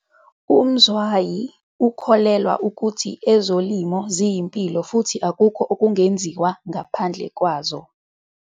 UMzwayi ukholelwa ukuthi ezolimo ziyimpilo futhi akukho okungenziwa ngaphandle kwazo.